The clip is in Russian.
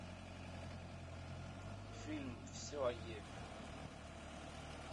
фильм все о еве